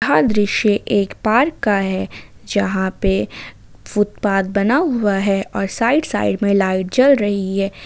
यह दृश्य एक पार्क का है यहां पे फुटपाथ बना हुआ है और साइड साइड में लाइट जल रही है।